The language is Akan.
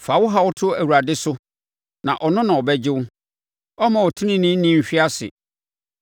Fa wo haw to Awurade so na ɔno na ɔbɛgye wo; ɔremma ɔteneneeni nhwe ase.